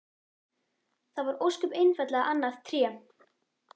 Það var ósköp einfaldlega annað Tré!